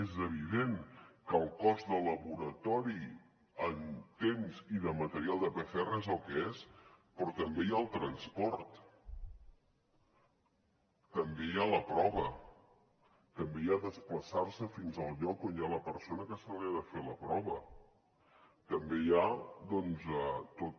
és evident que el cost de laboratori en temps i de material de pcr és el que és però també hi ha el transport també hi ha la prova també hi ha desplaçarse fins al lloc on hi ha la persona que se li ha de fer la prova també hi ha doncs tot